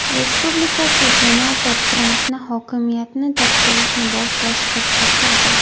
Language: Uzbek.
Respublikachi senator Trampni hokimiyatni topshirishni boshlashga chaqirdi.